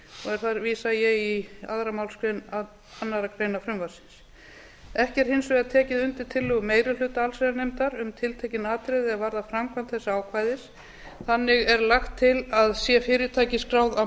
og þar vísa ég í annarri málsgrein annarrar greinar frumvarpsins ekki er hins vegar tekið undir tillögu meiri hluta allsherjarnefndar um tiltekin atriði er varða framkvæmd þessa ákvæðis þannig er lagt til að sé fyrirtækið skráð á